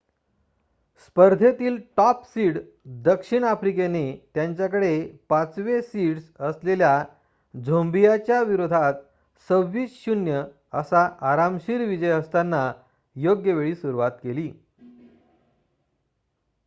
स्पर्धेतील top seed दक्षिण आफ्रिकेने त्यांच्याकडे ५ वे सीड्स असलेल्या झोंबियाच्या विरोधात २६ - ०० असा आरामशीर विजय असताना योग्यवेळी सुरुवात केली